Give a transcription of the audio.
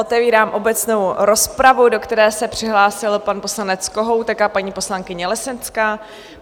Otevírám obecnou rozpravu, do které se přihlásil pan poslanec Kohoutek a paní poslankyně Lesenská.